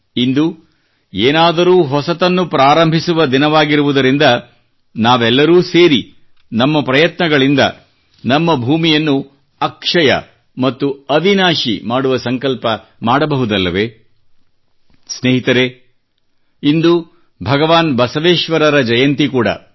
ಇಂದು ಏನಾದರೂ ಹೊಸದನ್ನು ಆರಂಭಿಸುವ ದಿನವಾಗಿರುವುದರಿಂದ ನಾವೆಲ್ಲರೂ ಸೇರಿ ನಮ್ಮ ಪ್ರಯತ್ನಗಳಿಂದ ನಮ್ಮ ಭೂಮಿಯನ್ನು ಅಕ್ಷಯ ಮತ್ತು ಅವಿನಾಶಿ ಮಾಡುವ ಸಂಕಲ್ಪ ಮಾಡಬಹುದಲ್ಲವೇ ಸ್ನೇಹಿತರೇ ಇಂದು ಭಗವಾನ್ ಬಸವೇಶ್ವರ ಜಯಂತಿ ಕೂಡಾ